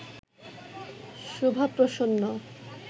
Shubha Prasanna